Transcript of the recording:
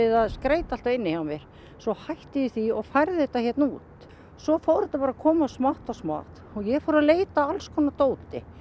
að skreyta inni hjá mér en svo hætti ég því og færði þetta hérna út svo fór þetta bara að koma smátt og smátt og ég fór að leita að allskonar dóti